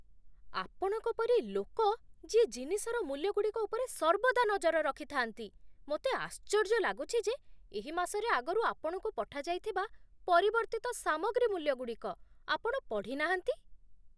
ଆପଣଙ୍କ ପରି ଲୋକ ଯିଏ ଜିନିଷର ମୁଲ୍ୟଗୁଡ଼ିକ ଉପରେ ସର୍ବଦା ନଜର ରଖିଥାନ୍ତି , ମୋତେ ଆଶ୍ଚର୍ଯ୍ୟ ଲାଗୁଛି ଯେ ଏହି ମାସରେ ଆଗରୁ ଆପଣଙ୍କୁ ପଠାଯାଇଥିବା ପରିବର୍ତ୍ତିତ ସାମଗ୍ରୀ ମୂଲ୍ୟଗୁଡ଼ିକ ଆପଣ ପଢ଼ି ନାହାନ୍ତି।